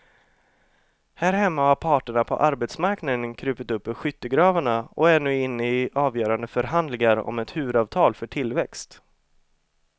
Här hemma har parterna på arbetsmarknaden krupit upp ur skyttegravarna och är nu inne i avgörande förhandlingar om ett huvudavtal för tillväxt.